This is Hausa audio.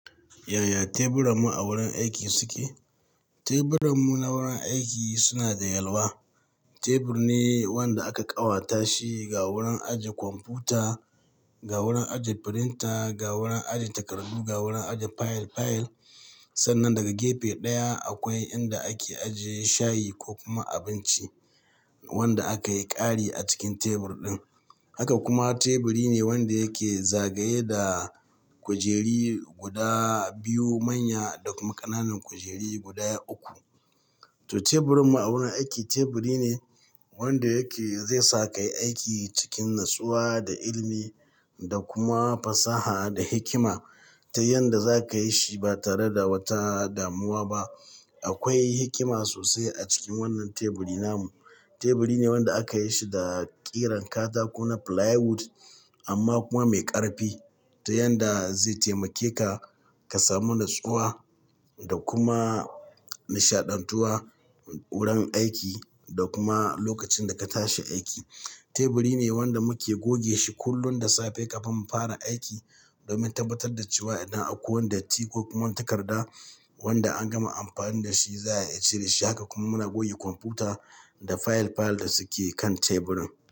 Yaya teburan mu a wurin aiki suke? Teburan mu na wurin aiki suna da yalwa. Tebur ne wanda aka ƙawata shi ga wurin ajiye kwamfuta, ga wurin ajiye firinta, ga wurin ajiye takardu, ga wurin ajiye file file. Sannan daga gefe ɗaya akwai inda ake ajiye shayi ko kuma abinci wanda aka yi ƙari a cikin tebur ɗin. Haka kuma teburi ne wanda yake zagaye da kujeri guda biyu manya da kuma ƙananan kujeri guda uku. To teburin mu a wurin aiki teburi ne wanda yake zai sa ka yi aiki cikin natsuwa da ilimi da kuma fasaha da hikima ta yanda za ka yi shi ba tare da wata damuwa ba. Akwai hikima sosai a cikin wannan teburi namu. Teburi ne wanda aka yi su da ƙiran katako na flywood amma kuma mai ƙarfi ta yanda zai taimake ka ka samu natsuwa da kuma nishaɗantuwa wurin aiki da kuma lokacin da ka tashi aiki. Teburi ne wanda muke goge shi kullum da safe kafin mu fara aiki domin tabbatar da cewa idan akwai wanda datti kuma takarda wanda an gama amfani da shi za a iya cire shi. Haka kuma muna goge kwamfuta da fayil fayil da suke kan teburin.